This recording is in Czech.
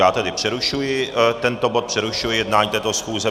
Já tedy přerušuji tento bod, přerušuji jednání této schůze.